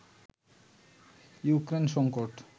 Ukraine সংকট